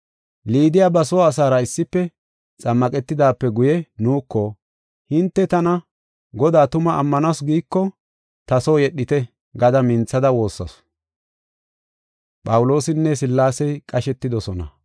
Liidiya ba soo asaara issife xammaqetidaape guye nuuko, “Hinte tana Godaa tuma ammanasu giiko ta soo yedhite” gada minthada woossasu.